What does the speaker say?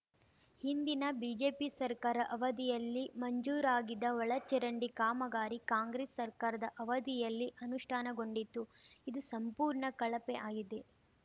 ಹಿಂದಿನ ಬಿಜೆಪಿ ಸರ್ಕಾರ ಅವಧಿಯಲ್ಲಿ ಮಂಜೂರಾಗಿದ್ದ ಒಳ ಚರಂಡಿ ಕಾಮಗಾರಿ ಕಾಂಗ್ರೆಸ್‌ ಸರ್ಕಾರದ ಅವಧಿಯಲ್ಲಿ ಅನುಷ್ಠಾನಗೊಂಡಿದ್ದು ಇದು ಸಂಪೂರ್ಣ ಕಳಪೆಆಗಿದೆ